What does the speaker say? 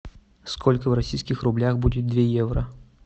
сколько в российских рублях будет две евро